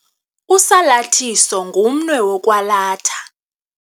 Usalathiso ngumnwe wokwalatha.